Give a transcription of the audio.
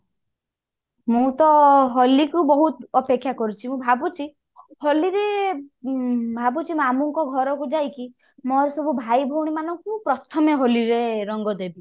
ମୁଁ ତ ହୋଲି କୁ ବହୁତ ଅପେକ୍ଷା କରୁଛି ମୁଁ ଭାବୁଛି ହୋଲି ରେ ଉଁ ଭାବୁଛି ମାମୁଙ୍କ ଘର କୁ ଯାଇକି ମୋର ସବୁ ଭାଇ ଭଉଣୀ ମାନଙ୍କୁ ପ୍ରଥମେ ହୋଲି ରେ ରଙ୍ଗ ଦେବି